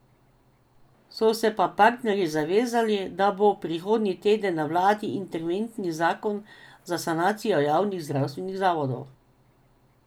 So se pa partnerji zavezali, da bo prihodnji teden na vladi interventni zakon za sanacijo javnih zdravstvenih zavodov.